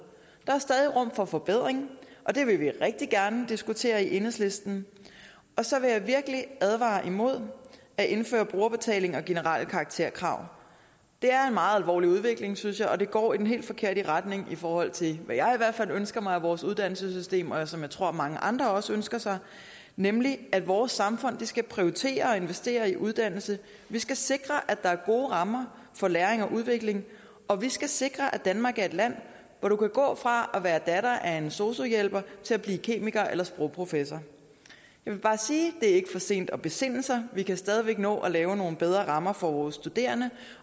er stadig rum for forbedring og det vil vi rigtig gerne diskutere i enhedslisten så vil jeg virkelig advare imod at indføre brugerbetaling og generelle karakterkrav det er en meget alvorlig udvikling synes jeg og den går i den helt forkerte retning i forhold til hvad jeg hvert fald ønsker mig af vores uddannelsessystem og og som jeg tror mange andre også ønsker sig nemlig at vores samfund skal prioritere og investere i uddannelse vi skal sikre at der er gode rammer for læring og udvikling og vi skal sikre at danmark er et land hvor du kan gå fra at være datter af en sosu hjælper til at blive kemiker eller sprogprofessor jeg vil bare sige det er ikke for sent at besinde sig vi kan stadig væk nå at lave nogle bedre rammer for vores studerende